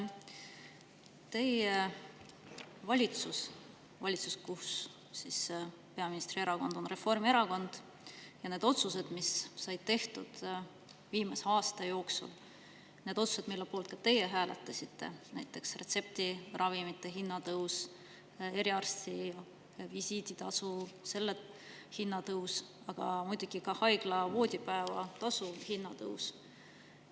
Teie valitsus, kus peaministri erakond on Reformierakond, on viimase aasta jooksul teinud otsuseid, mille poolt ka teie hääletasite, näiteks retseptiravimite hinna tõus, eriarstivisiidi tasu tõus, aga muidugi ka haigla voodipäevatasu tõus.